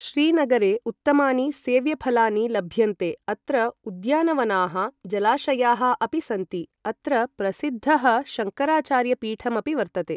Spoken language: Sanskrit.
श्रीनगरे उत्तमानि सेव्यफलानि लभ्यन्ते अत्र उद्यानवनाः जलाशयाःअपि सन्ति अत्र प्रसिद्धः शंकराचार्यपीठमपि वर्तते ।